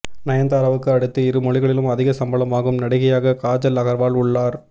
நயன்தாராவுக்கு அடுத்து இரு மொழிகளிலும் அதிக சம்பளம் வாங்கும் நடிகையாக காஜல் அகர்வால் உள்ளார்